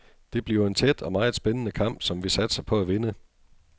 Det bliver en tæt og meget spændende kamp, som vi satser på at vinde.